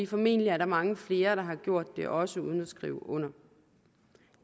formentlig er der mange flere der har gjort det også uden at skrive under